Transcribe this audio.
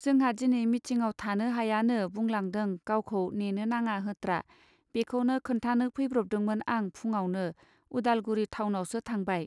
जोंहा दिनै मिथिङाव थानो हायानो बुंलांदों गावखौ नेनो नाङा होत्रा बेखौनो खोन्थानो फैब्रबदोंमोन आं फुङावनो उदालगुरि थावनावसो थांबाय.